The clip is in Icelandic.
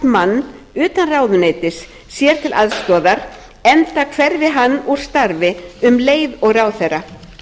mann utan ráðuneytis sér til aðstoðar enda hverfi hann úr starfi um leið og ráðherra